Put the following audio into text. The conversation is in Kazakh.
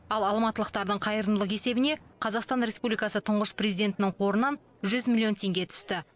ал алматылықтардың қайырымдылық есебіне қазақстан республикасы тұңғыш президентінің қорынан жүз миллион теңге түсті